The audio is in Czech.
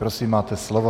Prosím, máte slovo.